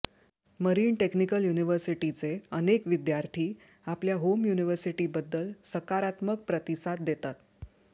marine technical युनिव्हर्सिटीचे अनेक विद्यार्थी आपल्या होम युनिव्हर्सिटीबद्दल सकारात्मक प्रतिसाद देतात